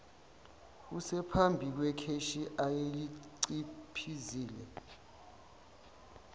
esephambi kwekheshi ayeliciphizile